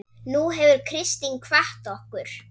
Nú hefur Kristín kvatt okkur.